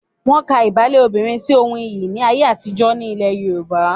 Wọ́n ka ìbálé obìnrin sí ohun iyì ní ayé àtijọ́ ní ilẹ̀ Yorùbá.